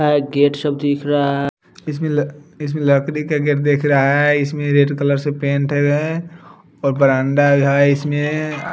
ऐ gate सब दिख रहा इसमें ल इसमें लकड़ी का गेट दिख रहा है इसमें रेड कलर से पेंट है और बरांदा है इसमें--